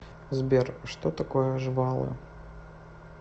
сбер что такое жвалы